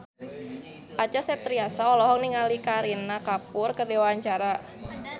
Acha Septriasa olohok ningali Kareena Kapoor keur diwawancara